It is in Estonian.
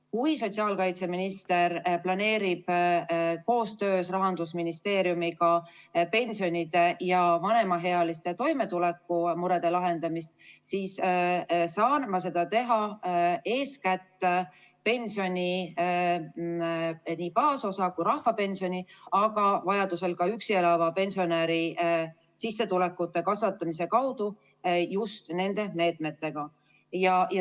Kui sotsiaalkaitseminister planeerib koostöös Rahandusministeeriumiga pensionide ja vanemaealiste toimetulekumurede lahendamist, siis saan ma seda teha eeskätt pensioni baasosa ja ka rahvapensioni, aga vajaduse korral ka üksi elava pensionäri sissetulekute kasvatamise kaudu ja just nende meetmetega.